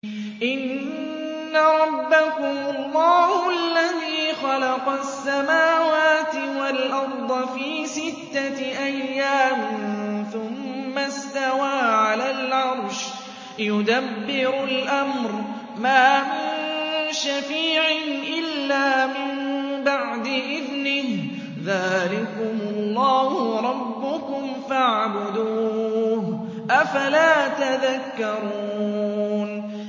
إِنَّ رَبَّكُمُ اللَّهُ الَّذِي خَلَقَ السَّمَاوَاتِ وَالْأَرْضَ فِي سِتَّةِ أَيَّامٍ ثُمَّ اسْتَوَىٰ عَلَى الْعَرْشِ ۖ يُدَبِّرُ الْأَمْرَ ۖ مَا مِن شَفِيعٍ إِلَّا مِن بَعْدِ إِذْنِهِ ۚ ذَٰلِكُمُ اللَّهُ رَبُّكُمْ فَاعْبُدُوهُ ۚ أَفَلَا تَذَكَّرُونَ